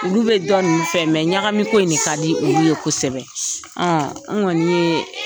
Olu bɛ dɔ ninnu fɛ ɲagami ko in de ka di olu ye kosɛbɛ n kɔni ye.